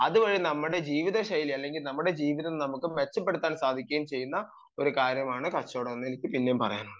അതുവഴി നമ്മുടെ ജീവിത ശൈലി അല്ലെങ്കിൽ ജീവിതം തന്നെ മെച്ചപ്പെടുത്താൻ സാധിക്കുന്ന ഒരു കാര്യമാണ് കച്ചവടം എന്ന് എനിക്ക് പിന്നേം പറയാനുള്ളത്